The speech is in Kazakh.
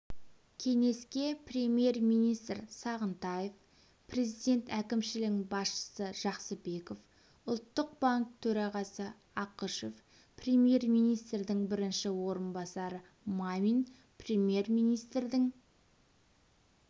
кеңеске премьер-министр сағынтаев президент әкімшілігінің басшысы жақсыбеков ұлттық банк төрағасы ақышев премьер-министрдің бірінші орынбасары мамин премьер-министрдің